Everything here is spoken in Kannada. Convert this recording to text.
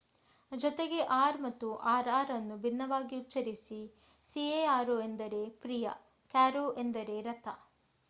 ಜೊತೆಗೆ r ಮತ್ತು rr ಅನ್ನು ಭಿನ್ನವಾಗಿ ಉಚ್ಚರಿಸಿ: caro ಎಂದರೆ ಪ್ರಿಯ, carro ಎಂದರೆ ರಥ